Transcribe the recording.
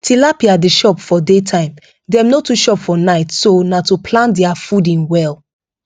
tilapia dey chop for daytime dem no too chop for night so na to plan their fooding well